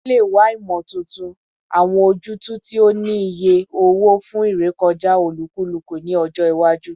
O le wa imotuntun, awọn ojutu ti o ni iye owo fun irekọja olukuluku ni ọjọ iwaju